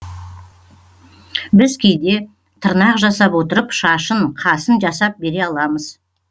біз кейде тырнақ жасап отырып шашын қасын жасап бере аламыз